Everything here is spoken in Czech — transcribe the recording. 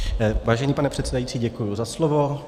Vážený pane předsedající, děkuji za slovo.